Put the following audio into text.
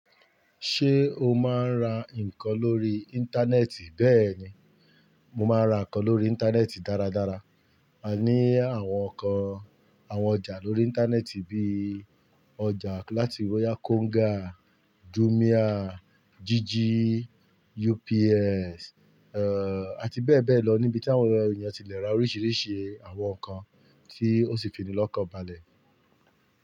Ṣé o máa ń ra nǹkan lórí Íńtánẹ́ẹ̀tì? Bẹ́ẹ̀ni, mo máa ra nǹkan lórí Íńtánẹ́ẹ̀tì dáradára. A ní àwọn nǹkan àwọn ọjà lórí Íńtánẹ́ẹ̀tì bíi ọjà láti Royakonga, Júmíà, Jíjí, UPS, eh àti bẹ́ẹ̀ bẹ́ẹ̀ lọ níbi tí àwọn èèyàn ti lè ra oríṣiríṣi àwọn nǹkan tí ó sì fi ní lọ́kọ balẹ̀.